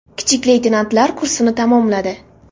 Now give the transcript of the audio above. Kichik leytenantlar kursini tamomladi.